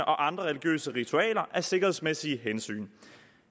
og andre religiøse ritualer af sikkerhedsmæssige hensyn